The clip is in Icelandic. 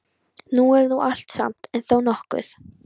Það er nú allt og sumt, en þó nokkuð.